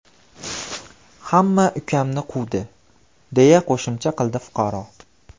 Hamma ukamni quvdi”, deya qo‘shimcha qildi fuqaro.